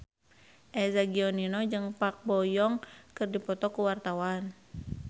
Eza Gionino jeung Park Bo Yung keur dipoto ku wartawan